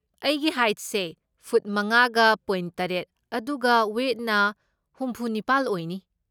ꯑꯩꯒꯤ ꯍꯥꯏꯠꯁꯦ ꯐꯨꯠ ꯃꯉꯥꯒ ꯄꯣꯢꯟ ꯇꯔꯦꯠ ꯑꯗꯨꯒ ꯋꯦꯏꯠꯅ ꯍꯨꯝꯐꯨꯅꯤꯄꯥꯜ ꯑꯣꯏꯅꯤ꯫